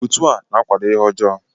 Otu a na-akwado ihe ọjọọ